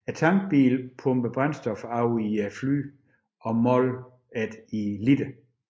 Tankbiler pumper brændstof over i flyene og måler det i liter